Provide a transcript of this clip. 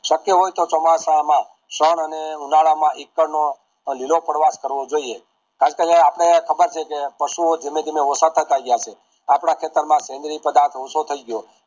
શક્ય હોય તો ચોમાસામાં શાન અને ઉનાળામાં નો લીલો પદ્વત કરવો જોઈએ આપડે ખબર છે કે પશુઓ ધીમે ધીમે ઓછા થતા જાય છે આપણા ખેતર માં જેનેરિક પધારતો ઓછા થયી ગયો